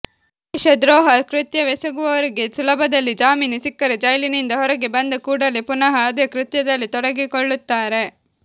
ದೇಶದ್ರೋಹ ಕೃತ್ಯವೆಸಗುವವರಿಗೆ ಸುಲಭದಲ್ಲಿ ಜಾಮೀನು ಸಿಕ್ಕರೆ ಜೈಲಿನಿಂದ ಹೊರಗೆ ಬಂದ ಕೂಡಲೇ ಪುನಃ ಅದೇ ಕೃತ್ಯದಲ್ಲಿ ತೊಡಗಿಕೊಳ್ಳುತ್ತಾರೆ